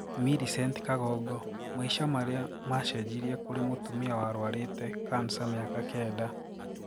Millicent Kagongo: Maisha maria macenjirie kũri mũtumia warwarite cancer miaka kenda.